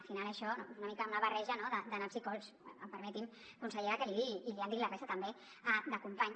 al final això és una mica una barreja no de naps i cols permeti’m consellera que l’hi digui i li han dit la resta també de companys